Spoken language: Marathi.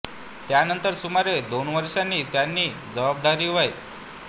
त्यानंतर सुमारे दोन वर्षांनी त्यांनी ही जबाबदारी वै